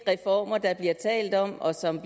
reformer der bliver talt om og som